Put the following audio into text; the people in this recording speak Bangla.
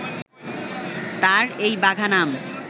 তার এই বাঘা নাম